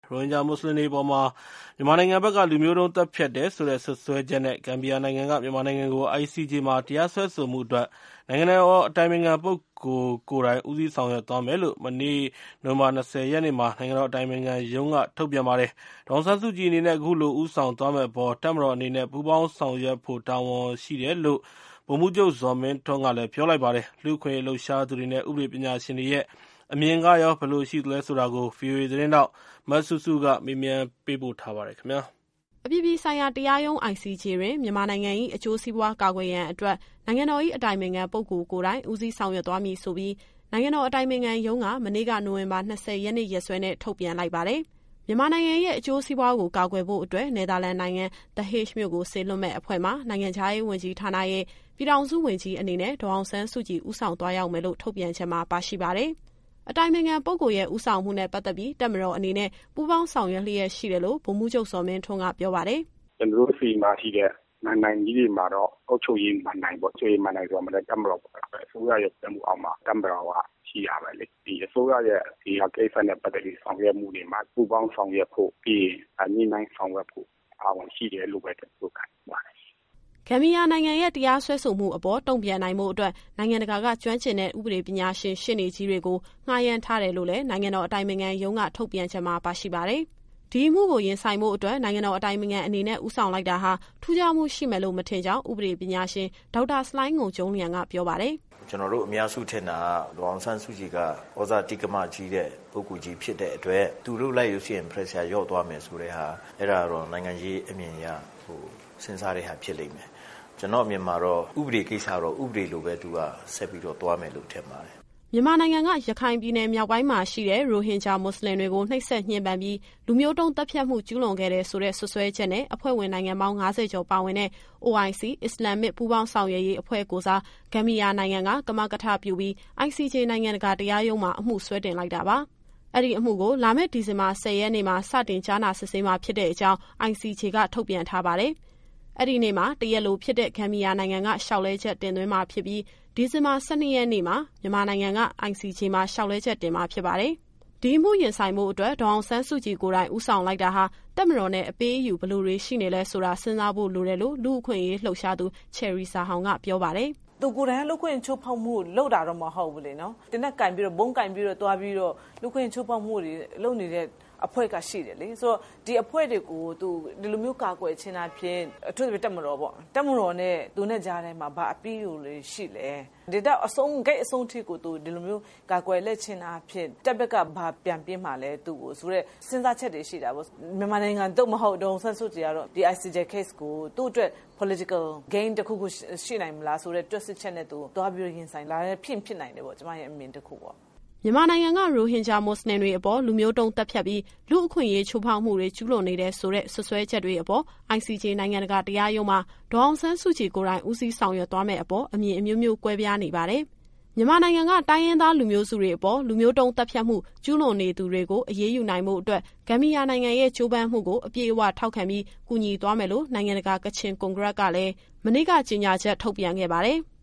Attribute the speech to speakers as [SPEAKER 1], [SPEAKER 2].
[SPEAKER 1] ရိုဟင်ဂျာမွတ်စလင်တွေအပေါ် မြန်မာနိုင်ငံဘက်က လူမျိုးတုံးသတ်ဖြတ်တယ်ဆိုတဲ့ စွပ်စွဲချက်နဲ့ ဂမ်ဘီယာနိုင်ငံက မြန်မာနိုင်ငံကို ICJ မှာ တရားစွဲဆိုမှုအတွက် နိုင်ငံတော်အတိုင်ပင်ခံပုဂ္ဂိုလ် ကိုယ်တိုင်ဦးစီးဆောင်ရွက်သွားမယ်လို့ မနေ့က နိုဝင်ဘာ ၂၀ရက်နေ့မှာ နိုင်ငံတော်အတိုင်ပင်ခံရုံးက ထုတ်ပြန်ခဲ့ပါတယ်။ ဒေါ်အောင်ဆန်းစုကြည်အနေနဲ့ အခုလို ဦးဆောင်သွားမယ့်အပေါ် တပ်မတော်အနေနဲ့ ပူးပေါင်းဆောင်ရွက်ဖို့ တာဝန်ရှိတယ်လို့ ဗိုလ်မှူးချုပ် ဇော်မင်းထွန်းက ပြောထားပါတယ်။ ICJ အမှုအပေါ် လူ့အခွင့်အရေးလှုပ်ရှားသူတွေနဲ့ ဥပဒေပညာရှင်တွေရဲ့ အမြင်သဘောထားတွေကို စုစည်းပြီး ဗွီအိုအေသတင်းထောက် စုစုက သတင်းပေးပို့ထားပါတယ်။
[SPEAKER 2] အပြည်ပြည်ဆိုင်ရာတရားရုံး ICJ တွင် မြန်မာနိုင်ငံ၏အကျိုးစီးပွား ကာကွယ်ရန်အတွက် နိုင်ငံတော်၏ အတိုင်ပင်ခံ ပုဂ္ဂိုလ်ကိုယ်တိုင် ဦးစီးဆောင်ရွက်မည်ဆိုပြီး နိုင်ငံတော်အတိုင်ပင်ခံရုံးက မနေ့က နိုဝင်ဘာ ၂၀ ရက်နေ့ ရက်စွဲနဲ့ ထုတ်ပြန်လိုက်ပါတယ်။ မြန်မာနိုင်ငံရဲ့ အကျိုးစီးပွားကို ကာကွယ်ဖို့အတွက် နယ်သာလန်နိုင်ငံ The Hague မြို့ကိုစေလွှတ်မယ့် အဖွဲ့မှာ နိုင်ငံခြားရေးဝန်ကြီးဌာနရဲ့ ပြည်ထောင်စုဝန်ကြီးအနေနဲ့ ဒေါ်အောင်ဆန်းစုကြည် ဦးဆောင်သွားရောက်မယ်လို့ ထုတ်ပြန်ချက်မှာ ပါရှိပါတယ်။ အတိုင်ပင်ခံပုဂ္ဂိုလ်ရဲ့ ဦးဆောင်မှုနဲ့ပတ်သက်ပြီး တပ်မတော်အနေနဲ့ ပူးပေါင်းဆောင်ရွက်လျက်ရှိတယ်လို့ ဗိုလ်မှူးချုပ် ဇော်မင်းထွန်းက ပြောပါတယ်။
[SPEAKER 1] “ကျတော်တို့ဆီမှာရှိတဲ့ မဏ္ဍိုင်ကြီးတွေမှာတော့ အုပ်ချုပ်ရေးမဏ္ဍိုင်ပေါ့။ အုပ်ချုပ်ရေးမဏ္ဍိုင်ဆိုတာမှာလည်း တပ်မတော်ဆိုတာ အစိုးရရဲ့ကြီးကြပ်မှုအောက်မှာ တပ်မတော်ကရှိရမယ်လေ။ ဒီအစိုးရရဲ့ ဒီဟာကိစ္စနဲ့ ပတ်သက်ပြီး ဆောင်ရွက်မှုတွေမှာ ပူးပေါင်းဆောင်ရွက်ဖို့ ပြီးရင် ညှိနှိုင်းဆောင်ရွက်ဖို့ တာဝန်ရှိတယ်လို့ပဲ ကျတော်တို့ခံယူပါတယ်။
[SPEAKER 2] ” ဂမ်ဘီယာနိုင်ငံရဲ့ တရားစွဲဆိုမှုအပေါ် တုန့်ပြန်နိုင်ဖို့အတွက် နိုင်ငံတကာက ကျွမ်းကျင်တဲ့ ဥပဒေပညာရှင် ရှေ့နေကြီးတွေကို ငှားရမ်းထားတယ်လို့လည်း နိုင်ငံတော်အတိုင်ပင်ခံရုံး ထုတ်ပြန်ချက်မှာပါရှိပါတယ်။ ဒီအမှုကို ရင်ဆိုင်ဖို့အတွက် နိုင်ငံတော်အတိုင်ပင်ခံအနေနဲ့ ဦးဆောင်လိုက်တာဟာ ထူးခြားမှုရှိမယ်လို့ မထင်ကြောင်း ဥပဒေပညာရှင် ဒေါက်တာ ဆလိုင်းငုံကျုံးလျန်က ပြောပါတယ်။
[SPEAKER 1] “ကျတော်တို့အများစုထင်တာက ဒေါ်အောင်ဆန်းစုကြည်က သြဇာတိက္ကမကြီးတဲ့ ပုဂ္ဂိုလ်ကြီးဖြစ်တဲ့အတွက် သူလုပ်လိုက်လို့ရှိရင် Pressure လျှော့သွားမယ်ဆိုတဲ့ဟာ အဲဒါတော့ နိုင်ငံရေးအမြင်အရ စဉ်းစားတဲ့ဟာ ဖြစ်လိမ့်မယ်။ ကျတော့်အမြင်မှာတော့ ဥပဒေကိစ္စတော့ ဥပဒေလိုပဲ သူကဆက်ပြီးတော့ သွားမယ်လို့ ထင်ပါတယ်။
[SPEAKER 2] ” မြန်မာနိုင်ငံက ရခိုင်ပြည်နယ်မြောက်ပိုင်းမှာရှိတဲ့ ရိုဟင်ဂျာမွတ်စလင်တွေကို နှိပ်စက်ညှဉ်းပန်းပြီး လူမျိုးတုံးသတ်ဖြတ်မှု ကျူးလွန်ခဲ့တယ်ဆိုတဲ့ စွပ်စွဲချက်နဲ့ အဖွဲ့ဝင်နိုင်ငံပေါင်း ၅၀ ကျော်ပါဝင်တဲ့ OIC အစ္စလာမ်မစ်ပူးပေါင်း ဆောင်ရွက်ရေးအဖွဲ့ကိုယ်စား ဂမ်ဘီယာနိုင်ငံက ကမကထပြုပြီး ICJ နိုင်ငံတကာတရားရုံးမှာ အမှုစွဲတင်လိုက်တာပါ။ အဲဒီအမှုကို လာမယ့် ဒီဇင်ဘာ ၁၀ရက်နေ့မှာ စတင်ကြားနာစစ်ဆေးမှာ ဖြစ်တဲ့အကြောင်း ICJ က ထုတ်ပြန်ထားပါတယ်။ အဲဒီနေ့မှာ တရားလိုဖြစ်တဲ့ ဂမ်ဘီယာနိုင်ငံက လျှောက်လဲချက်တင်သွင်းမှာဖြစ်ပြီး၊ ဒီဇင်ဘာ ၁၂ ရက်နေ့မှာ မြန်မာနိုင်ငံက ICJ မှာ လျှောက်လဲချက် တင်ရမှာဖြစ်ပါတယ်။ ဒီအမှုရင်ဆိုင်ဖို့အတွက် ဒေါ်အောင်ဆန်းစုကြည်ကိုယ်တိုင် ဦးဆောင်လိုက်တာဟာ တပ်မတော်နဲ့ အပေးအယူဘယ်လိုတွေ ရှိနေလဲဆိုတာ စဉ်းစားဖို့လိုတယ်လို့ လူ့အခွင့်အရေးလှုပ်ရှားသူ ချယ်ရီဇာဟောင်က ပြောပါတယ်။
[SPEAKER 3] “သူကိုယ်တိုင်က လူ့အခွင့်အရေးချိုးဖောက်မှုကို လုပ်တာတော့ မဟုတ်ဘူးလေနော်။ သေနတ်ကိုင်ပြီးတော့ ဗုံးကိုင်ပြီးတော့ သွားပြီးတော့ လူ့အခွင့်အရေးချိုးဖောက်မှုတွေ လုပ်နေတဲ့အဖွဲ့က ရှိတယ်လေ။ ဆိုတော့ ဒီအဖွဲ့တွေကို သူဒီလိုမျိုးကာကွယ်ခြင်းအားဖြင့် အထူးသဖြင့် တပ်မတော်ပေါ့။ တပ်မတော်နဲ့ သူနဲ့ကြားထဲမှာ ဘာအပေးအယူတွေရှိလဲ။ ဒီလောက် ဂိတ်ဆုံးထိကို သူဒီလိုမျိုး ကာကွယ်လိုက်ခြင်းအားဖြင့် တပ်ဘက်ကဘာပြန်ပေးမှာလဲ သူ့ကိုဆိုတဲ့ စဉ်းစားချက်တွေရှိတာပေါ့။ မြန်မာနိုင်ငံ (သို့မဟုတ်) ဒေါ်အောင်ဆန်းစုကြည်ကတော့ ဒီ ICJ Case ကို သူ့အတွက် Political Game တခုခုရှိနိုင်မလားဆိုတဲ့ တွက်ဆချက်နဲ့ သူသွားပြီးတော့ ရင်ဆိုင်တာလည်း ဖြစ်ရင်ဖြစ်နိုင်တယ်ပေါ့။ ကျမရဲ့အမြင် တခုပေါ့။”
[SPEAKER 2] မြန်မာနိုင်ငံက ရိုဟင်ဂျာမွတ်စလင်တွေအပေါ် လူမျိုးတုံးသတ်ဖြတ်ပြီး လူ့အခွင့်အရေးချိုးဖောက်မှုတွေ ကျူးလွန်နေတယ် ဆိုတဲ့ စွပ်စွဲချက်တွေအပေါ် ICJ နိုင်ငံတကာတရားရုံးမှာ ဒေါ်အောင်ဆန်းစုကြည်ကိုယ်တိုင် ဦးစီးဆောင်ရွက်သွားမယ့်အပေါ် အမြင်အမျိုးမျိုး ကွဲပြားနေပါတယ်။ မြန်မာနိုင်ငံက တိုင်းရင်းသားလူမျိုးစုတွေအပေါ် လူမျိုးတုန်းသတ်ဖြတ်မှု ကျူးလွန်နေသူတွေကို အရေးယူနိုင်ဖို့အတွက် ဂမ်ဘီယာနိုင်ငံရဲ့ ကြိုးပမ်းမှုကို အပြည့်အဝထောက်ခံပြီး ကူညီသွားမယ်လို့ နိုင်ငံတကာ ကချင်ကွန်ဂရက်ကလည်း မနေ့က ကြေညာချက် ထုတ်ပြန်ခဲ့ပါတယ်။